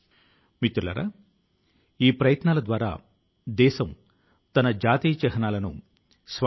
ఆ తోట లోని ఏ పూవు యొక్క రేకు ను మీ కోసం తీసుకు రావాలా అని నేను ఆలోచిస్తాను